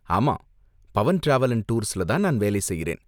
ஆமா, Pavan travel and டூர்ஸ்ல தான் வேலை செய்றேன்.